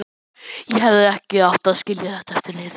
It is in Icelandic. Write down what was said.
Ég hefði ekki átt að skilja þetta eftir niðri.